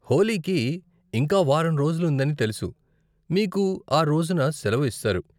హోళీకి ఇంకా వారం రోజులు ఉందని తెలుసు, మీకు ఆ రోజున సెలవు ఇస్తారు.